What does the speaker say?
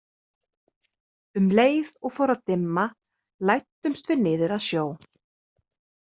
Um leið og fór að dimma læddumst við niður að sjó.